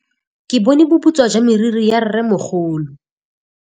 Ke bone boputswa jwa meriri ya rrêmogolo.